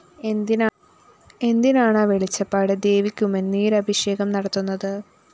എന്തിനാണാ വെളിച്ചപ്പാട് ദേവിക്കുമിനീരഭിഷേകം നടത്തുന്നത്